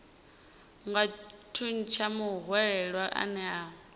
nga thuntsha muhwelelwa ane a